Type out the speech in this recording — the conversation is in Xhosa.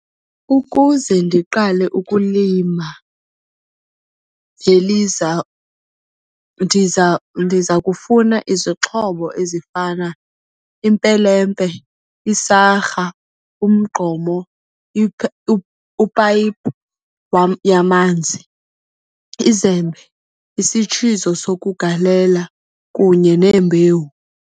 Ukuze ndiqale ukulima ndiza ndiza kufuna izixhobo ezifana impelempe, isarha, umgqomo, upayipu wam yamanzi, izembe, isitshizo sokugalela kunye neembewu.